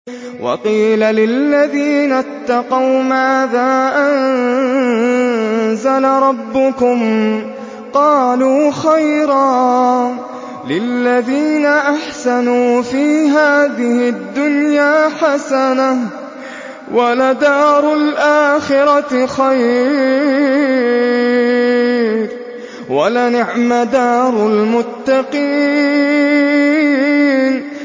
۞ وَقِيلَ لِلَّذِينَ اتَّقَوْا مَاذَا أَنزَلَ رَبُّكُمْ ۚ قَالُوا خَيْرًا ۗ لِّلَّذِينَ أَحْسَنُوا فِي هَٰذِهِ الدُّنْيَا حَسَنَةٌ ۚ وَلَدَارُ الْآخِرَةِ خَيْرٌ ۚ وَلَنِعْمَ دَارُ الْمُتَّقِينَ